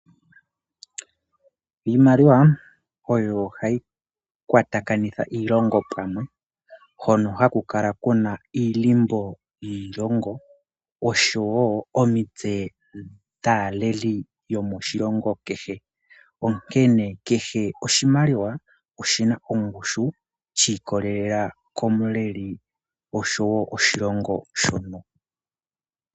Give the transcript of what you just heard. Iimaliwa oyo hayi kwatakanitha iilongo pamwe, hono haku kala iilimbo yiilongo noshowo omitse dhaaleli yomoshilongo kehe. Onkene keshe oshimaliwa oshina ongushu shi ikwatelela komuleli oshowo oshilongo shono.